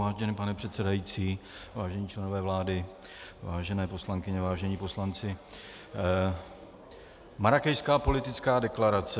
Vážený pane předsedající, vážení členové vlády, vážené poslankyně, vážení poslanci, Marrákešská politická deklarace.